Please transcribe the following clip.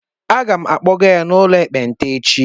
Aga m akpọga ya n'ụlọ ekpenta echi